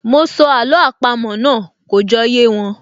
Mọ sọ àló àpamọ́ náà, kò jọ yé wọn